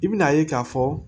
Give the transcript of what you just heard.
I bɛna ye k'a fɔ